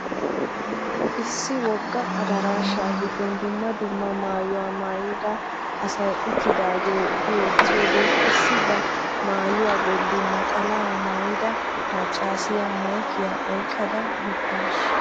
Issi wogga adarashaa gidon dumma dumma maayuwaa maayida asay uttidaagee bwwttiyode issi ba maayuwaa bolli naxalaa maayida maccasiya maykkiya oyqqada biddawusu.